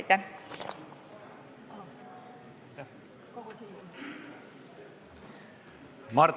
Aitäh!